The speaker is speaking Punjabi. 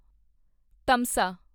ਤਮਸਾ